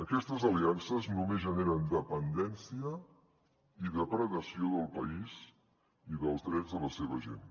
aquestes aliances només generen dependència i depredació del país i dels drets de la seva gent